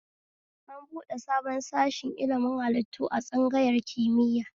An buɗe sabon sashi ilimin hallitu a tsangayar kimiya